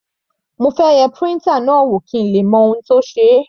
Mo fẹ́ yẹ printer náà wò kí èmi le mọ ohun tó ṣe é.